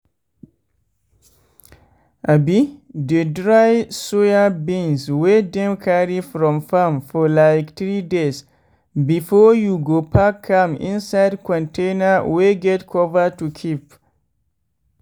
abi dey dry soyabeans wey dem carry from farm for like 3days before you go pack am inside container wey get cover to keep.